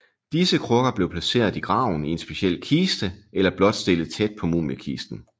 Disse krukker blev placeret i graven i en speciel kiste eller blot stillet tæt på mumiekisten